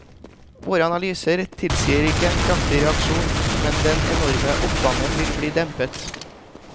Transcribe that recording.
Våre analyser tilsier ikke en kraftig reaksjon, men den enorme oppgangen vil bli dempet.